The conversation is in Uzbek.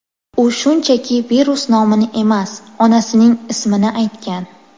U shunchaki virus nomini emas, onasining ismini aytgan.